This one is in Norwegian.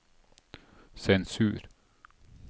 sensur